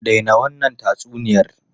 Dai na wannan tatsuniyar!